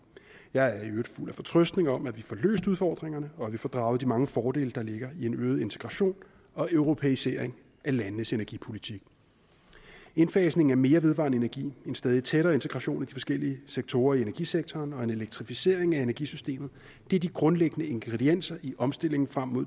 jeg er i øvrigt fuld af fortrøstning om at vi får løst udfordringerne og at vi får draget de mange fordele der ligger i en øget integration og europæisering af landenes energipolitik indfasning af mere vedvarende energi en stadig tættere integration af de forskellige sektorer i energisektoren og en elektrificering af energisystemet er de grundlæggende ingredienser i omstillingen frem mod